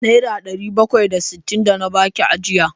Nera ɗari bakwai da sittin da na baki ajiya!